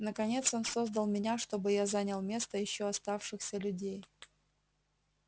наконец он создал меня чтобы я занял место ещё оставшихся людей